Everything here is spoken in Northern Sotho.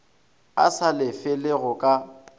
a sa lefele go ka